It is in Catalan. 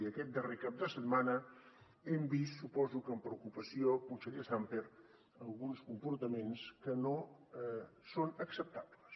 i aquest darrer cap de setmana hem vist suposo que amb preocupació conseller sàmper alguns comportaments que no són acceptables